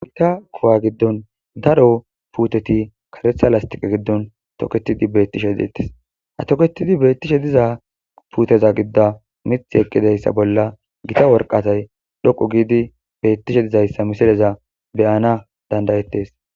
Mita kuwa giddon daro puuteti karetha lastiqe giddon toketidi beettishe deetes ha toketidi beettishe diza puuteza gidda mith eqqidayssa bolla gita worqatay dhoqu giidi beettishe dizayssa misireza beyana dandayettes